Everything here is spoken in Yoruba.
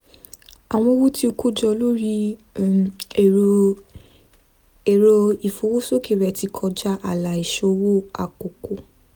àwọn owó tí ó kó jọ lórí ẹ̀rọ ìfowósókè rẹ̀ ti kọjá ààlà ìsòwò àkọ́kọ́